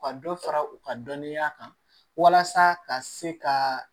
U ka dɔ fara u ka dɔnniya kan walasa ka se ka